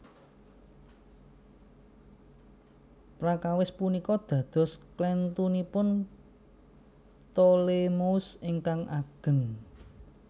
Prakawis punika dados klèntunipun Ptolemeus ingkang ageng